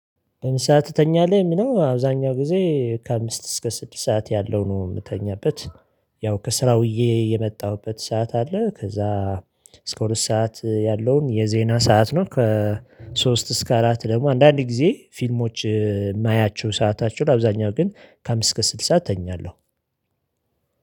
ስንት ሰዓት ትተኛለህ የምነው አብዛኛው ጊዜ ከአምስት እስከ ስድስት ሰዓት ያለው ነው የምተኛበት። ያው ከስራው ውዬ የመጣሁበት ሰዓት አለ። ከዛ እስከ ሁለት ሰዓት ያለውን የዜና ሰዓት ነው። ከ ሶስት እስከ አራት ደግሞ አንዳንድ ጊዜ ፊልሞች የማያቸው ሰአታቸውን አብዛኛው ግን ከአምስት እስከ ስልስት እተኛለሁ።